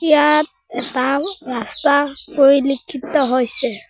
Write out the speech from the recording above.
ইয়াত এটাও ৰাস্তা পৰিলিক্ষিত হৈছে।